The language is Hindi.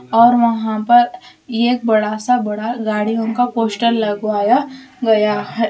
और वहा पर एक बड़ा सा बड़ा गाड़ियों का पोस्टर लगवाया गया है।